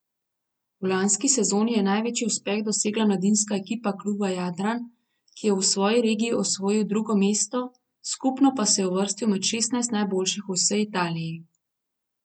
V lanski sezoni je največji uspeh dosegla mladinska ekipa kluba Jadran, ki je v svoji regiji osvojil drugo mesto, skupno pa se je uvrstil med šestnajst najboljših v vsej Italiji.